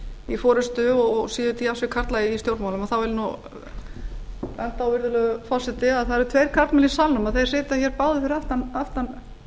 í forustu og séu til jafns við karla í stjórnmálum þá vil ég nú benda á virðulegur forseti að það eru tveir karlmenn í salnum og þeir sitja hér báðir fyrir aftan